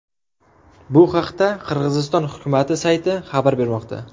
Bu haqda Qirg‘iziston hukumati sayti xabar bermoqda .